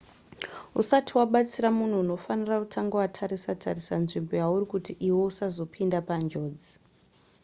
usati wabatsira munhu unofanira kutanga watarisa tarisa nzvimbo yauri kuti iwe usazopinda panjodzi